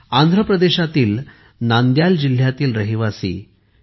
आंध्र प्रदेशातील नांदयाल जिल्ह्यातील रहिवासी के